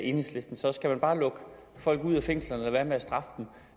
enhedslisten så skal man bare lukke folk ud af fængslerne og lade være med at straffe dem